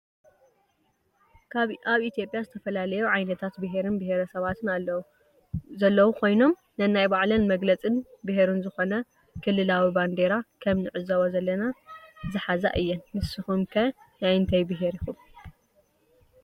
አብ ኢትዬጲያ ዝተፈላለዩ ዓይነታት ብሄር ብሄረ ስባት ዘለው ኮይኖም ነናይ ባዕለን መግለፅ ብሄረን ዝኮነ ከልላዊ ባንዴራ ከም ንዕዞቦ ዘለና ዝሓዛ እየን ። ንስኩም ከ ናይ እንታይ ብሄር ኢኩም?